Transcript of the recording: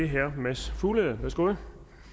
herre mads fuglede værsgo